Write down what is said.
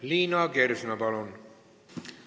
Liina Kersna, palun!